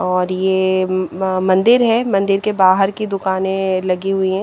और ये मंदिर है मंदिर के बाहर की दुकाने लगी हुई है ।